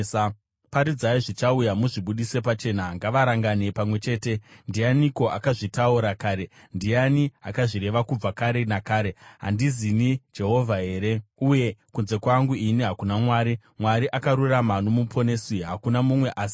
Paridzai zvichauya, muzvibudise pachena: ngavarangane pamwe chete. Ndianiko akazvitaura kare, ndiani akazvireva kubva kare nakare? Handizini Jehovha here? Uye kunze kwangu ini hakuna Mwari, Mwari akarurama noMuponesi; hakuna mumwe asi ini.